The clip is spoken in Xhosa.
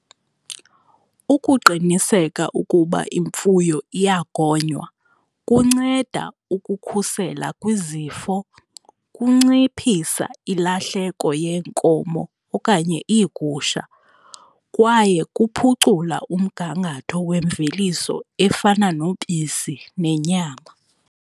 Ukuqiniseka ukuba imfuyo iyagonywa kunceda ukukhusela kwizifo, kunciphisa ilahleko yeenkomo okanye iigusha kwaye kuphucula umgangatho wemveliso efana nobisi nenyama.